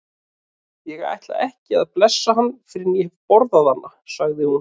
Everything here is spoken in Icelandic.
Ég ætla ekki að blessa hann fyrr en ég hef borðað hana, sagði hún.